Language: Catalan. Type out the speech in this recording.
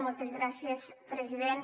moltes gràcies president